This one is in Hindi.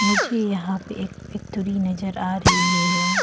मुझे यहां पे एक फैक्ट्री नजर आ रही है।